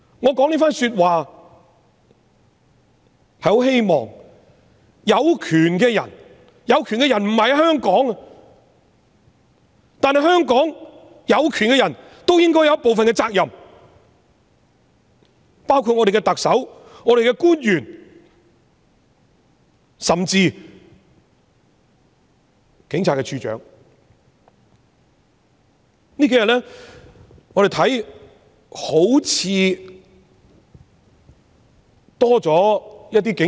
我說這番說話是很希望有權的人——有權的人不在香港——但在香港有權的人也應該有部分責任，包括特首、官員甚至是警務處處長。